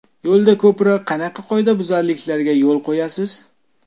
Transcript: Yo‘lda ko‘proq qanaqa qoidabuzarliklarga yo‘l qo‘yasiz?